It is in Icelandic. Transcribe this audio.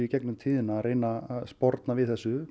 gegnum tíðina að reyna að sporna við þessu